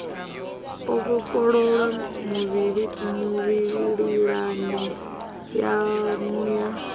o vhofholowa mililani yanu ya